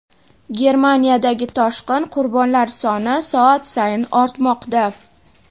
Germaniyadagi toshqin: qurbonlar soni soat sayin ortmoqda.